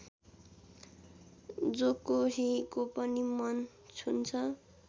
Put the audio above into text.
जोकोहीको पनि मन छुन्छ